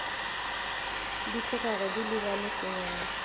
di tlogago di lebane sengwalwa